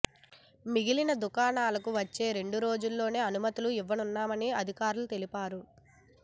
మిగిలిన దుకాణాలకు వచ్చే రెండు రోజుల్లో అనుమతులు ఇవ్వనున్నామని అధికారులు తెలిపారు